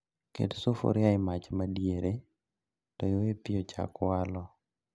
Ket sufria e mach madiere to iwe pii ochak walo